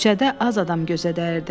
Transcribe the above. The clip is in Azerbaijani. Küçədə az adam gözə dəyirdi.